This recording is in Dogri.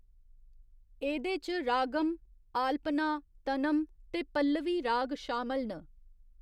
एह्‌‌‌दे च रागम, आलपना, तनम ते पल्लवी राग शामल न।